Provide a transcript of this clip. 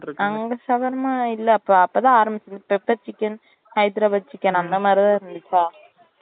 அங்க shawarma இல்ல அப்ப அப்போ தான் ஆரம்பிச்ச pepper chicken hyderabad chicken அந்த மாதிரி தான் இருந்துச்சா